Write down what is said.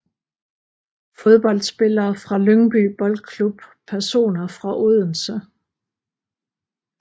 Fodboldspillere fra Lyngby Boldklub Personer fra Odense